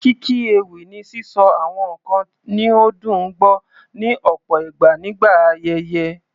Kíkí ewì ni sísọ àwọn nǹkan ní ó dùn gbọ́, ní ọ̀pọ̀ ìgbà nígbà ayẹyẹ.